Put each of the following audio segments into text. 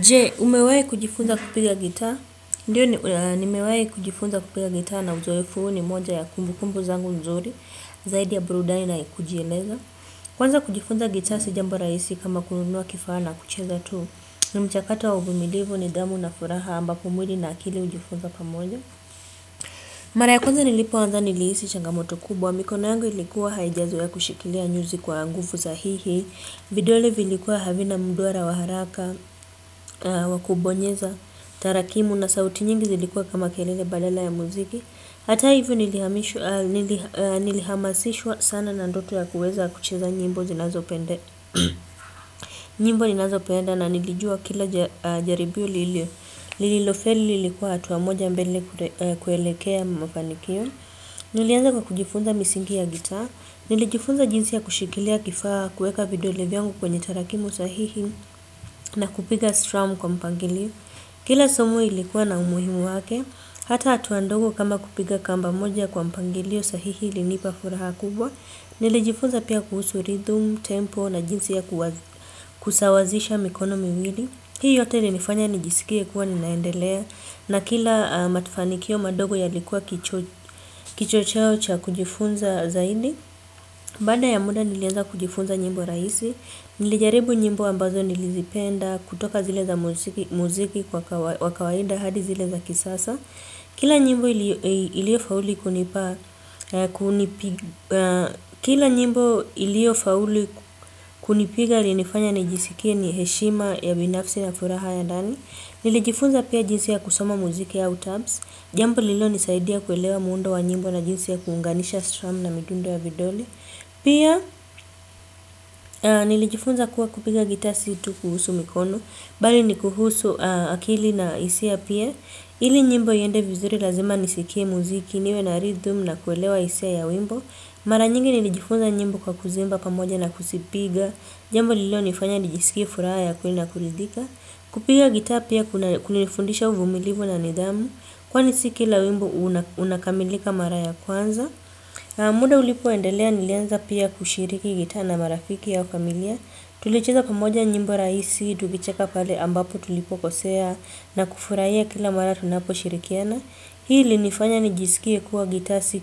Jee, umewahi kujifunza kupiga gitaa? Ndiyo nimewahi kujifunza kupiga gitaa na uzoefu ni moja ya kumbukumbu zangu nzuri zaidi ya burudani na kujieleza. Kwanza kujifunza gitaa si jambu rahisi kama kununua kifaa na kucheza tu ni mchakato wa uvumilivu nidhamu na furaha ambapo mwili na akili hujifunza pamoja. Mara ya kwanza nilipoanza nilihisi changamoto kubwa mikono yangu ilikuwa haijazoea kushikilia nyuzi kwa nguvu sahihi. Vidole vilikuwa havina mduara wa haraka, wa kubonyeza, tarakimu na sauti nyingi zilikuwa kama kelele balala ya muziki hata hivyo nilihamasishwa sana na ndoto ya kuweza kucheza nyimbo zinazo pende. Nyimbo inazopenda na nilijua kila jaribio lilio. Lililofeli lilikuwa hatua moja mbele kuelekea mafanikio. Nilianza kwa kujifunza misingi ya gitaa. Nilijifunza jinsi ya kushikilia kifaa kuweka video vyangu kwenye tarakimu sahihi na kupiga strum kwa mpangilio. Kila somo ilikuwa na umuhimu wake. Hata hatua ndogo kama kupiga kamba moja kwa mpangilio sahihi ilinipa furaha kubwa. Nilijifunza pia kuhusu rhythm, tempo na jinsi ya kusawazisha mikono miwili. Hii yote ilinifanya nijisikie kuwa ninaendelea na kila mafanikio madogo yalikuwa kichocheo cha kujifunza zaidi. Baada ya muda nilianza kujifunza nyimbo rahisi. Nilijaribu nyimbo ambazo nilizipenda kutoka zile za muziki wa kawaida hadi zile za kisasa. Kila nyimbo iliyofaulu kunipiga ilinifanya nijisikie ni heshima ya binafsi na furaha ya dani. Nilijifunza pia jinsi ya kusoma muziki ya au tabs. Jambo lilonisaidia kuelewa muundo wa nyimbo na jinsi ya kuunganisha strum na midundo ya vidole. Pia nilijifunza kuwa kupiga gitaa situ kuhusu mikono bali ni kuhusu akili na hisia pia ili nyimbo iende vizuri lazima nisikie muziki niwe na rhythm na kuelewa hisia ya wimbo. Mara nyingi nilijifunza njimbo kwa kuziimba pamoja na kuzipiga. Jambo lililonifanya nifanya nijisikie furaha ya kwenye na kuridhika. Kupiga gitaa pia kunanifundisha uvumilivu na nidhamu kwani si kila wimbo unakamilika mara ya kwanza. Muda ulipoendelea nilianza pia kushiriki gitaa na marafiki au familia. Tulicheza pamoja nyimbo rahisi, tukicheka pale ambapo tulipokosea na kufurahia kila mara tunapo shirikiana. Hii ilinifanya nijisikia kuwa gitaa si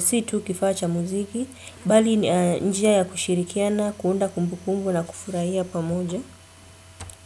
situ kifaa cha muziki. Bali ni njia ya kushirikiana, kuunda kumbukumbu na kufurahia pamoja.